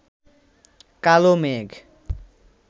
কালো মেঘ